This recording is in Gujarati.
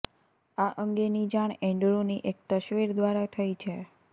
આ અંગેની જાણ એન્ડ્રૂની એક તસવીર દ્વારા થઇ છે